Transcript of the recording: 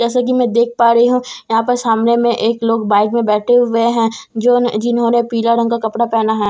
जैसे कि मैं देख पा रही हूं यहां पर सामने में एक लोग बाइक में बैठे हुए हैं जो ने जिन्होंने पीला रंग का कपड़ा पहना है।